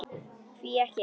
Hví ekki.